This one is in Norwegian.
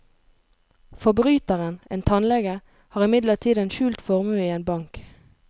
Forbryteren, en tannlege, har imidlertid en skjult formue i en bank.